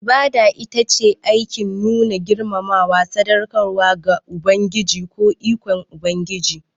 Ibada ita ce aikin nuna girmamawa, sadaukarwa da bauta ga Ubangiji ko ikon Ubangiji.